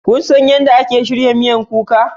Kun san yadda ake shirya miyan kuka?